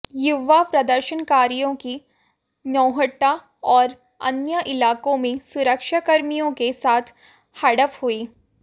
युवा प्रदर्शनकारियों की नौहट्टा और अन्य इलाकों में सुरक्षा कर्मियों के साथ झड़प हुई